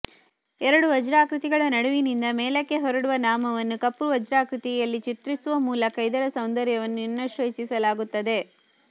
ಎರಡು ವಜ್ರಾಕೃತಿಗಳ ನಡುವಿನಿಂದ ಮೇಲಕ್ಕೆ ಹೊರಡುವ ನಾಮವನ್ನು ಕಪ್ಪು ವಜ್ರಾಕೃತಿಯಲ್ಲಿ ಚಿತ್ರಿಸುವ ಮೂಲಕ ಇದರ ಸೌಂದರ್ಯವನ್ನು ಇನ್ನಷ್ಟು ಹೆಚ್ಚಿಸಲಾಗುತ್ತದೆ